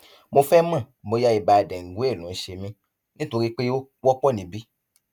mo fẹ mọ bóyá ibà dengue ló ń ṣe mí nítorí pé ó wọpọ níbí